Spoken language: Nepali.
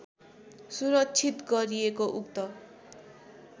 सुरक्षित गरिएको उक्त